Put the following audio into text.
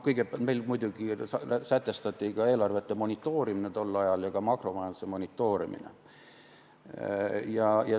Meil muidugi sätestati tol ajal eelarvete monitoorimine ja ka makromajanduse monitoorimine.